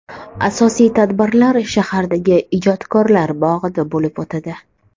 Asosiy tadbirlar shahardagi ijodkorlar bog‘ida bo‘lib o‘tadi.